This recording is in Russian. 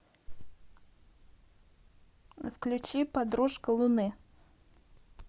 включи подружка луны